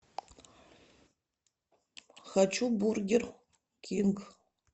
хочу бургер кинг